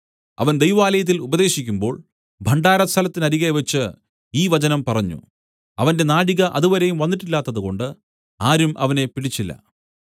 അവൻ ദൈവാലയത്തിൽ ഉപദേശിക്കുമ്പോൾ ഭണ്ഡാരസ്ഥലത്തിനരികെവെച്ച് ഈ വചനം പറഞ്ഞു അവന്റെ നാഴിക അതുവരെയും വന്നിട്ടില്ലാത്തതുകൊണ്ട് ആരും അവനെ പിടിച്ചില്ല